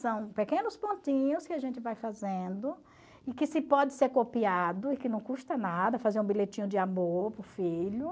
São pequenos pontinhos que a gente vai fazendo e que se pode ser copiado e que não custa nada fazer um bilhetinho de amor para o filho.